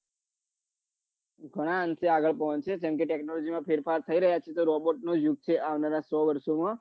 ઘણા અંશે આગળ પહોચ સે technology માં ફેરફાર થઈ રહ્યા છે robot નો યુગ છે આવનારા સૌ વર્ષોમાં